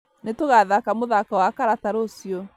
Nĩtũgathaka mũthako wa karata rũciũ